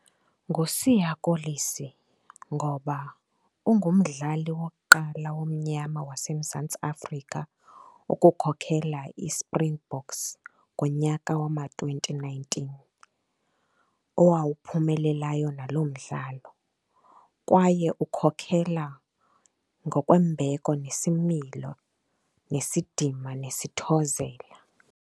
NguSiya Kolisi ngoba ungumdlali wokuqala omnyama waseMzantsi Afrika ukukhokhela iSpringboks ngonyaka wama-twenty nineteen, owawuphumelelayo nalo mdlalo. Kwaye ukhokhela ngokwembeko nesimilo, nesidima nesithozela.